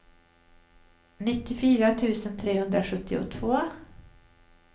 nittiofyra tusen trehundrasjuttiotvå